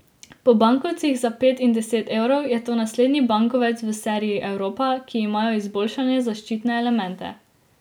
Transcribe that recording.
Po bankovcih za pet in deset evrov je to naslednji bankovec v seriji Evropa, ki imajo izboljšane zaščitne elemente.